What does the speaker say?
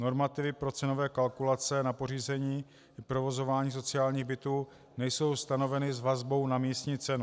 Normativy pro cenové kalkulace na pořízení a provozování sociálních bytů nejsou stanoveny s vazbou na místní cenu.